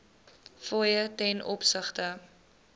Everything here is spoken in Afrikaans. fooie ten opsigte